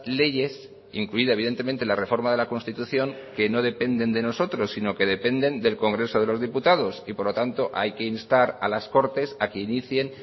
leyes incluida evidentemente la reforma de la constitución que no dependen de nosotros sino que dependen del congreso de los diputados y por lo tanto hay que instar a las cortes a que inicien